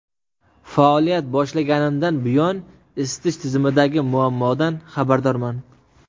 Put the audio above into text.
Faoliyat boshlaganimdan buyon isitish tizimidagi muammodan xabardorman.